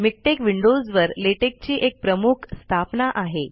MiKTeX विंडोजवर LaTeX ची एक प्रमुख स्थापना आहे